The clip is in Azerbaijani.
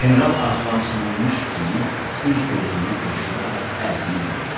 General ağlamsınmış kimi üz-gözünü qırışdıraq əlini yellədi.